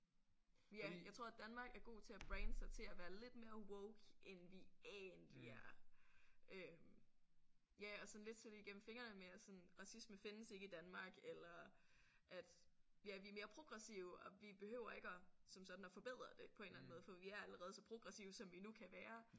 Jeg tror Danmark er god til at brande sig til at være lidt mere woke end vi egentlig er øh ja og sådan lidt se det igennem fingrene med at sådan racisme findes ikke i Danmark eller at ja vi er mere progressive og vi behøver ikke at som sådan at forbedre det på en eller anden måde for vi er allerede så progressive som vi nu kan være